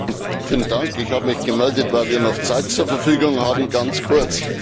Herr Präsident! Vielen Dank, ich habe mich gemeldet, weil wir noch Zeit zur Verfügung haben ganz kurz.